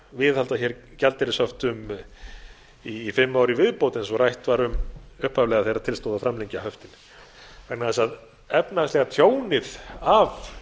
viðhalda gjaldeyrishöftum í fimm ár í viðbót eins og rætt var um upphaflega þegar til stóð að framlengja höftin vegna þess að efnahagslega tjónið af